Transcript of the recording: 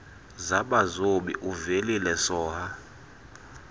zabazobi uvelile soha